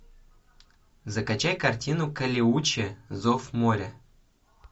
закачай картину калеуче зов моря